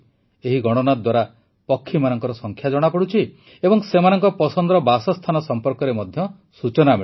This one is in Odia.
ଏହି ଗଣନା ଦ୍ୱାରା ପକ୍ଷୀମାନଙ୍କ ସଂଖ୍ୟା ଜଣାପଡ଼ୁଛି ଏବଂ ସେମାନଙ୍କ ପସନ୍ଦର ବାସସ୍ଥାନ ସମ୍ପର୍କରେ ମଧ୍ୟ ସୂଚନା ମିଳୁଛି